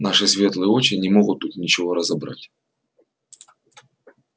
наши светлые очи не могут тут ничего разобрать